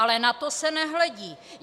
Ale na to se nehledí!